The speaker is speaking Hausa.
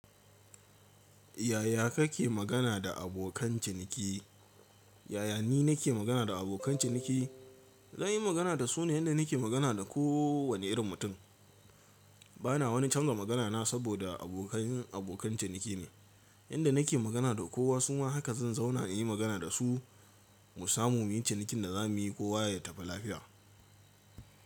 Yaya kake magana da abokan ciniki? Yaya ni nake magana da abokan ciniki? Zan yi magana da su ne yadda nake magana da kowane irin mutum. Bana wani canza magana na saboda abokan cin abokan ciniki ne yadda nake magana da kowa. Su ma haka zan zauna na yi magana da su, mu samu cinikin da za mu yi, kowa ya tafi lafiya.